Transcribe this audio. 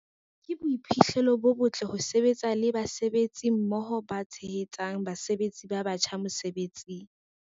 "Ke boiphihlelo bo botle ho sebetsa le basebetsi mmoho ba tshehetsang basebetsi ba batjha mosebetsing."